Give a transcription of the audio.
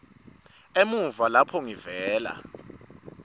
emuva lapho ngivela